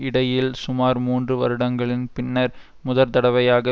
இடையில் சுமார் மூன்று வருடங்களின் பின்னர் முதற்தடவையாக